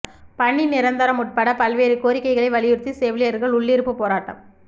பணி நிரந்தரம் உட்பட பல்வேறு கோரிக்கைகளை வலியுறுத்தி செவிலியர்கள் உள்ளிருப்பு போராட்டம்